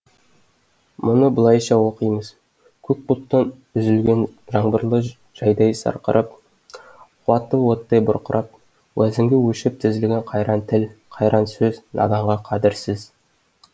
мұны былайша оқимыз көк бұлттан үзілген жаңбырлы жайдай сырқырап қуаты оттай бұрқырап уәзінге өлшеп тізілген қайран тіл қайран сөз наданға қадірсіз